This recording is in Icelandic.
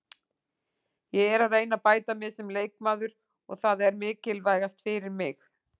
Ég er að reyna að bæta mig sem leikmaður og það er mikilvægast fyrir mig.